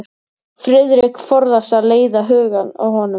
Friðrik forðast að leiða hugann að honum.